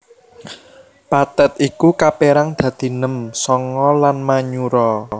Pathet iku kapérang dadi nem sanga lan manyura